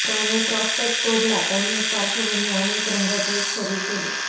त्याने प्रॉस्पेक्ट तोडला त्यांनी एक पार्श्वभूमी आणि एक रंगाचे एक शरीर केले